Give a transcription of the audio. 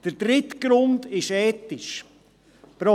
Der dritte Grund ist ethischer Natur: